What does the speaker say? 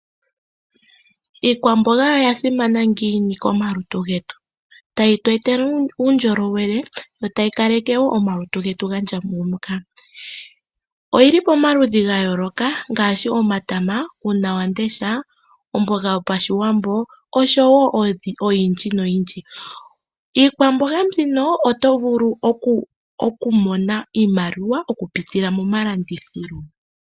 Iikwamboga oyasimana ngiini komalutu getu ? ta yi tu etele uundjolowele yo ta yi kaleke woo omalutu getu ga ndjangumuka . oyili pomaludhi ga yooloka ngaaashi; omatama, uuna wamudesha, omboga yopashiwambo oshowo oyindji noyindji. Iikwamboga mbino otovulu okumona iimaliwa okupitila mo momalandithilo.